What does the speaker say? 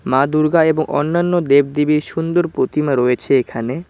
মা দুর্গা এবং অন্যান্য দেব দেবীর সুন্দর প্রতিমা রয়েছে এখানে।